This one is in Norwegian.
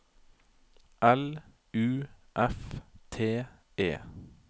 L U F T E